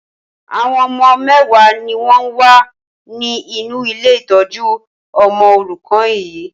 Àwọn ọmọ mẹwa ni wọn wá ní inú ilé ìtọ́jú ọmọ òrùkan yii